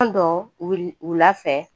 Don dɔ wil wula fɛ